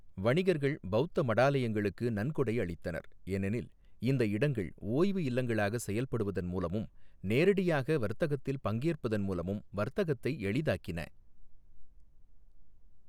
வணிகர்கள் பௌத்த மடாலயங்களுக்கு நன்கொடை அளித்தனர், ஏனெனில் இந்த இடங்கள் ஓய்வு இல்லங்களாக செயல்படுவதன் மூலமும், நேரடியாக வர்த்தகத்தில் பங்கேற்பதன் மூலமும் வர்த்தகத்தை எளிதாக்கின.